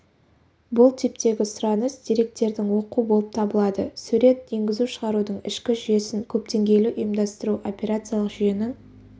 бұл типтегі сұраныс деректердің оқу болып табылады сурет енгізу-шығарудың ішкі жүйесін көпдеңгейлі ұйымдастыру операциялық жүйенің